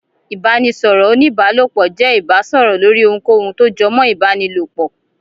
Ibanisọrọ onibaalopọ jẹ ibasọrọ lórí ohunkóhun tó jọ mọ ibanilopọ.